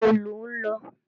Níbo lọ̀ ń lọ?